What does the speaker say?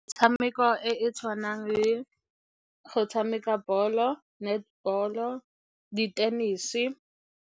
Metshameko e e tshwanang le go tshameka ball-o, netball-o, di-tennis-e.